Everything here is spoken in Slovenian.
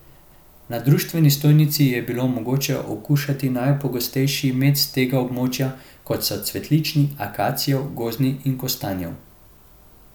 Na društveni stojnici je bilo mogoče okušati najpogostejši med s tega območja, kot so cvetlični, akacijev, gozdni, kostanjev.